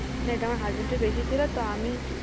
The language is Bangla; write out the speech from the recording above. এটা husband র বেশি ছিল তো